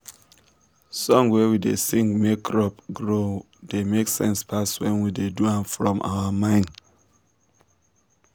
song wey we da sing make crop grow da make sense pass wen we do am from our mind